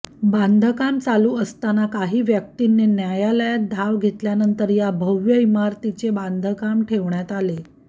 बांधकाम चालू असताना काही व्यक्तीनी न्यायालयात धांव घेतल्यानंतर या भव्य इमारतीचे बांधकाम ठेवण्यात आले